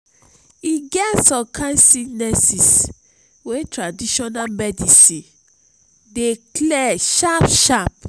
e get some kain sickness wey traditional medicine dey clear sharp-sharp.